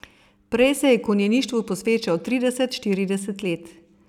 Prej se je konjeništvu posvečal trideset, štirideset let.